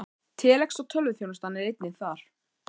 Telex og tölvuþjónusta er einnig þar.